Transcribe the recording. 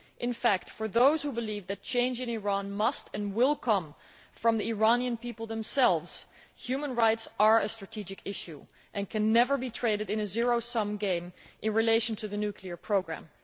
In fact, for those who believe that change in Iran must and will come from the Iranian people themselves, human rights are a strategic issue and can never be traded in a zero sum game in relation to the nuclear programme.